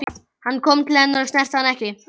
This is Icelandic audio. Hann kom til hennar en snerti hana ekki.